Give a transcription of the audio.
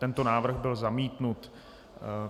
Tento návrh byl zamítnut.